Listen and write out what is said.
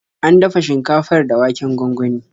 An dafa shinkafar da waken gwangwani.